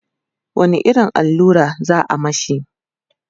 wani irin allura za'a mashi?